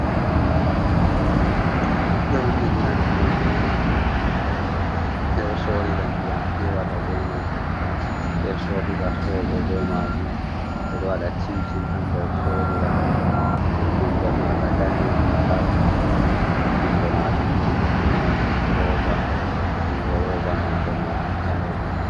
Bokoti. Ɓe ɗo nyeɗira ndiyam be maajum, ɓe ɗo sorira ndiyam piwota be man, ɓe sorira soɓo be maajum. Ɓe ɗo wada cim-cim ha nder sorira. Nonde maga danejum tal. Jungo maajum bo ɗo mari rooba. Jungo roba nonde maajum ɓalejum.